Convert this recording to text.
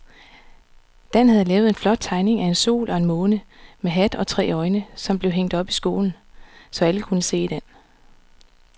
Dan havde lavet en flot tegning af en sol og en måne med hat og tre øjne, som blev hængt op i skolen, så alle kunne se den.